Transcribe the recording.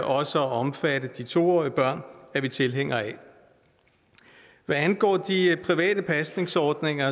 også at omfatte de to årige børn er vi tilhængere af hvad angår de private pasningsordninger